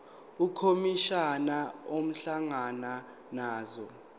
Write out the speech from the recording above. ukhomishana ehlangana nazo